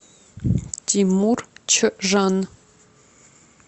тимур чжан